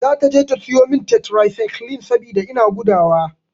Zata je ta sayo min tetrasaiklin saboda ina gudawa.